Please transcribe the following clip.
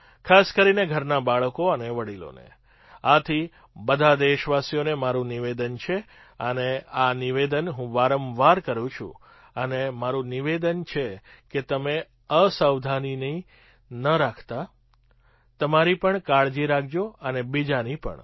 ખાસ કરીને ઘરનાં બાળકો અને વડીલોને આથી બધાં દેશવાસીઓને મારું નિવેદન છે અને આ નિવેદન હું વારંવાર કરું છું અને મારું નિવેદન છે કે તમે અસાવધાની ન રાખતા તમારી પણ કાળજી રાખજો અને બીજાની પણ